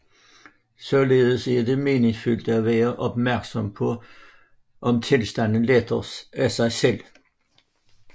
Således er det meningsfuldt at være opmærksom på om tilstanden letter af sig selv